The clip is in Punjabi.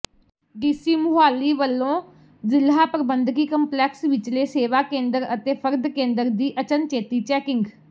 ਡੀਸੀ ਮੁਹਾਲੀ ਵੱਲੋਂ ਜ਼ਿਲ੍ਹਾ ਪ੍ਰਬੰਧਕੀ ਕੰਪਲੈਕਸ ਵਿਚਲੇ ਸੇਵਾ ਕੇਂਦਰ ਅਤੇ ਫਰਦ ਕੇਂਦਰ ਦੀ ਅਚਨਚੇਤੀ ਚੈਕਿੰਗ